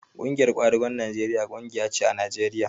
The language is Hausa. Ƙungiyar kwadagon Najeriya ƙungiya ce a Najeriya